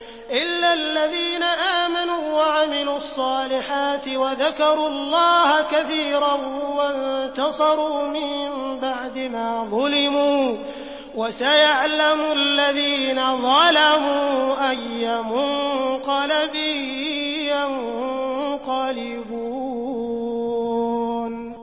إِلَّا الَّذِينَ آمَنُوا وَعَمِلُوا الصَّالِحَاتِ وَذَكَرُوا اللَّهَ كَثِيرًا وَانتَصَرُوا مِن بَعْدِ مَا ظُلِمُوا ۗ وَسَيَعْلَمُ الَّذِينَ ظَلَمُوا أَيَّ مُنقَلَبٍ يَنقَلِبُونَ